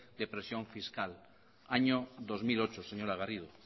de presión fiscal año dos mil ocho señora garrido